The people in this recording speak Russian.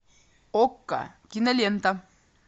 окко кинолента